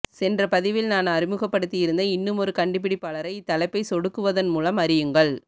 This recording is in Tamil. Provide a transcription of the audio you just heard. சென்ற பதிவில் நான் அறிமுகப்படுத்தியிருந்த இன்னுமொரு கண்டுபிடிப்பாளரை இத்தலைப்பை சொடுக்குவதன் மூலம் அறியுங்கள்